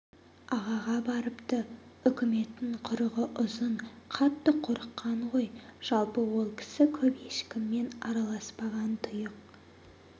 ағаға барыпты үкіметтің құрығы ұзын қатты қорыққан ғой жалпы ол кісі көп ешкіммен араласпаған тұйық